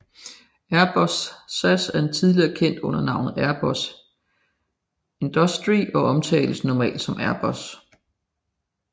Airbus SAS er tidligere kendt under navnet Airbus Industrie og omtales normalt som Airbus